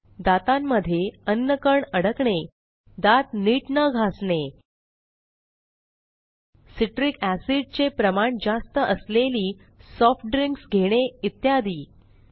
दातांमध्ये अन्नकण अडकणे दात नीट न घासणे सिट्रिक एसिड चे प्रमाण जास्त असलेली सॉफ्ट ड्रिंक्स मद्यार्क नसलेले पेय घेणे इत्यादी